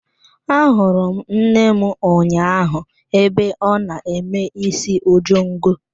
Ahụrụ m nne m ụnyaahụ ebe ọ na-eme isi ojongo.